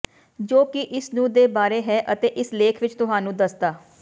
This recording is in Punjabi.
ਜੋ ਕਿ ਇਸ ਨੂੰ ਦੇ ਬਾਰੇ ਹੈ ਅਤੇ ਇਸ ਲੇਖ ਵਿਚ ਤੁਹਾਨੂੰ ਦੱਸਦਾ